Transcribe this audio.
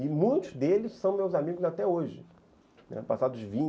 E muitos deles são meus amigos até hoje, passados vinte